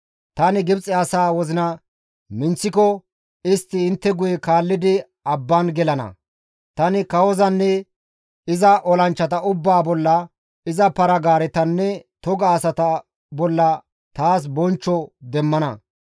Tani Gibxe asa wozina minththiko istti intte guye kaallidi abban gelana. Tani kawozanne iza olanchchata ubbaa bolla, iza para-gaaretanne toga asata bolla taas bonchcho demmana.